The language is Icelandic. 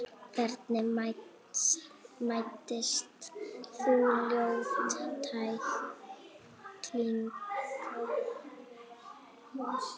Hvernig meiddist þú, ljót tækling?